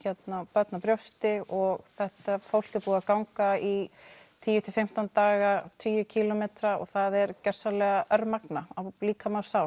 barn á brjósti og þetta fólk er búið að ganga í tíu til fimmtán daga tugi kílómetra og það er gjörsamlega örmagna á líkama og sál